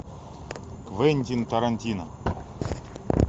квентин тарантино